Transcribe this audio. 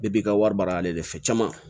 i ka wari baara ale de fɛ caman